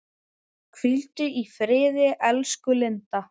Hvíldu í friði elsku Linda.